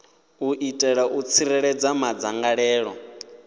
u itela u tsireledza madzangalelo